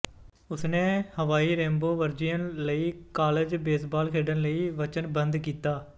ਉਸਨੇ Hawaii Rainbow Warriors ਲਈ college baseball ਖੇਡਣ ਲਈ ਵਚਨਬੱਧ ਕੀਤਾ